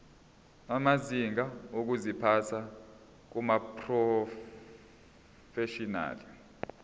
amazinga okuziphatha kumaprofeshinali